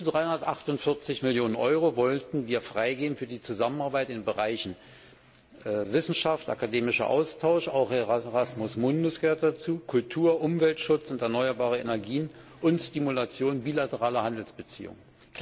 Bis zu 348 Millionen EUR wollten wir freigeben für die Zusammenarbeit in den Bereichen Wissenschaft, akademischer Austausch dazu gehört auch Erasmus Mundus Kultur, Umweltschutz und erneuerbare Energien und Stimulation bilateraler Handelsbeziehungen.